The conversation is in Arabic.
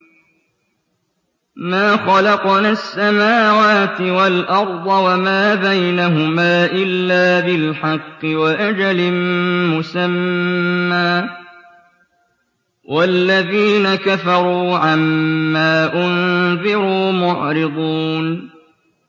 مَا خَلَقْنَا السَّمَاوَاتِ وَالْأَرْضَ وَمَا بَيْنَهُمَا إِلَّا بِالْحَقِّ وَأَجَلٍ مُّسَمًّى ۚ وَالَّذِينَ كَفَرُوا عَمَّا أُنذِرُوا مُعْرِضُونَ